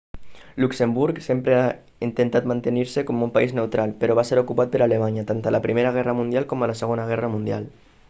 luxemburg sempre ha intentat mantenir-se com un país neutral però va ser ocupat per alemanya tant a la primera guerra mundial com a la segona guerra mundial